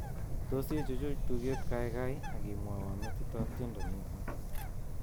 Tos ichuch tuget kaikai ak imwowo metitab tiendo niton